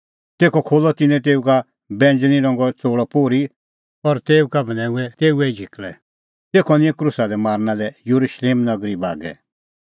तेखअ खोल्हअ तिन्नैं तेऊ का बैंज़णीं रंगो च़ोल़अ पोर्ही और तेऊ का बन्हैऊंऐं तेऊए ई झिकल़ै तेखअ निंयं क्रूसा दी मारना लै येरुशलेम नगरी बागै